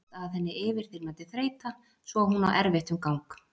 Sest að henni yfirþyrmandi þreyta svo að hún á erfitt um gang.